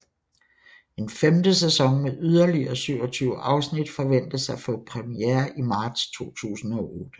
En femte sæson med yderligere 27 afsnit forventes at få premiere i marts 2008